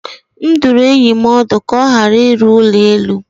M dụrụ enyi m ọdụ ka ọ ghara ịrụ ụlọ elu.